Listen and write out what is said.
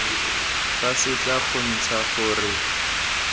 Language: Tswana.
fa se tla kgontsha gore